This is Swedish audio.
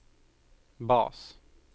bas